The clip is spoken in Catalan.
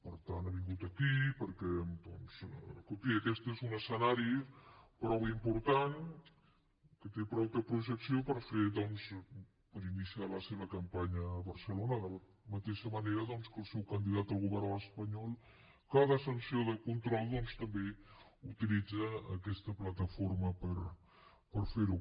per tant ha vingut aquí perquè doncs escolti aquest és un escenari prou important que té prou projecció per ini ciar la seva campanya a barcelona de la mateixa manera que el seu candidat al govern espanyol cada sessió de control doncs també utilitza aquesta plataforma per fer ho